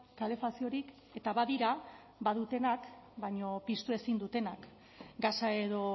kalefaziorik eta badira badutenak baina piztu ezin dutenak gasa edo